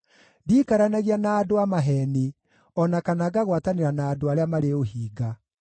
Ndiikaranagia na andũ a maheeni, o na kana ngagwatanĩra na andũ arĩa marĩ ũhinga.